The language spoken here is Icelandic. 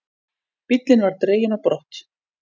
Bíllinn var dreginn á brott.